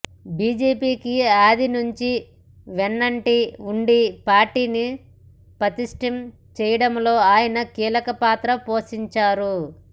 బీజేపీకి ఆది నుంచి వెన్నంటి ఉండి పార్టీని పటిష్టం చేయడంలో ఆయన కీలక పాత్ర పోషించారు